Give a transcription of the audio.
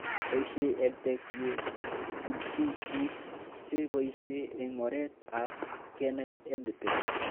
Poishe EdTech ye chutchi pik che poishe eng' oret ab kenai EdTech